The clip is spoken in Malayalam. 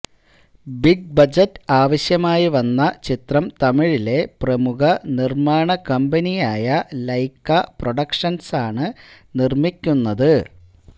ബിഗ് ബജറ്റ് ആവശ്യമായി വന്ന ചിത്രം തമിഴിലെ പ്രമുഖ നിര്മാണ കമ്പനിയായ ലൈക്ക പ്രൊഡക്ഷന്സാണ് നിര്മ്മിക്കുന്നത്